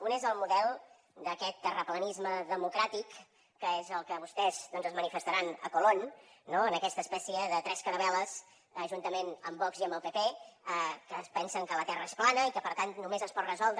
un és el model d’aquest terraplanisme democràtic que és el que vostès doncs manifestaran a colón no en aquesta espècie de tres caravel·les juntament amb vox i amb el pp que es pensen que la terra és plana i que per tant només es pot resoldre